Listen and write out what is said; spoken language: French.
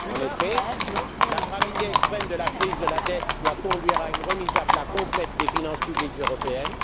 En effet, la gravité extrême de la crise de la dette doit conduire à une remise à plat complète des finances publiques européennes.